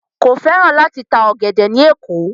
Kò fẹ́ràn láti ta ọ̀gẹ̀dẹ̀ ní Èkó.